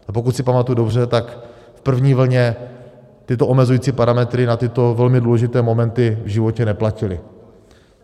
A pokud si pamatuji dobře, tak v první vlně tyto omezující parametry na tyto velmi důležité momenty v životě neplatily.